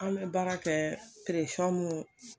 An bɛ baara kɛ mun